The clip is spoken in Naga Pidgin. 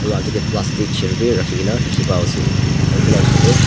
aro akae tae plastic chair bi rakhikaena dikhipaiase aro edu la osor tae--